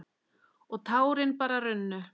Og tárin bara runnu.